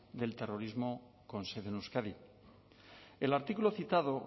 del terrorismo con sede en euskadi el artículo citado